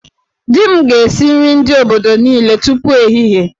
Di m ga-esi nri ndị obodo niile tupu ehihie